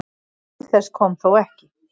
Til þess kom þó ekki